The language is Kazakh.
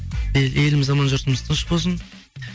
еліміз аман жұртымыз тыныш болсын